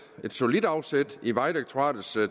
solidt afsæt i vejdirektoratets